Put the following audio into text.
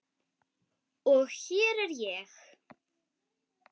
Og hér er ég.